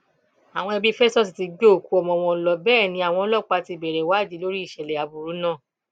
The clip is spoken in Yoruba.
àwọn ẹbí festus ti gbé òkú ọmọ wọn lọ bẹẹ ni àwọn ọlọpàá ti bẹrẹ ìwádìí lórí ìṣẹlẹ aburú náà